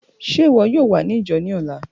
Ṣe iwọ yoo wa ni ijo ni ọla?